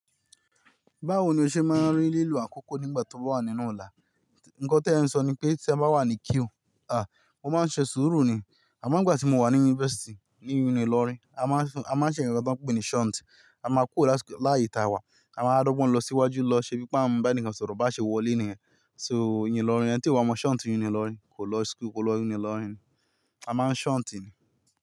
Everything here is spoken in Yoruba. Báwo ni o ṣe máa ń rí lílu àkókò nígbà tí o bá wà nínú ọ̀la? Nǹkan tí ẹ ń sọ ni pé tí ẹ bá wà ní queue, a, mo máa ń ṣe sùúrù ni. Àmo ń gbà tí mo wà ní yunifásítì, ní yunilórí, a máa ń ṣe ǹnkankan tí wọ́n ń pè ní shunt, a máa ku ọ láti láàyè ta wa, a máa wá dọ̀gbon lọ sí iwájú lọ ṣe bí i pé a n bá ẹnìkan sọ̀rọ̀ bá ṣe wọlé níyẹn. So yunilórí ẹni tí o bá mọ shunt yunilórí, kò lọ school-- kò lọ yunilórí ni. A máa ń shunt ni.